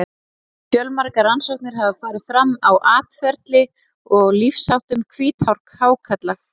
Fjölmargar rannsóknir hafa farið fram á atferli og lífsháttum hvíthákarla.